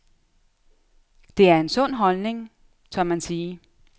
Det er en sund holdning, tør man sige.